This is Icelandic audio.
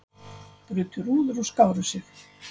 Brutu rúður og skáru sig